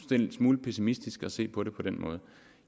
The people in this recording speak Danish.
det er en smule pessimistisk at se på det på den måde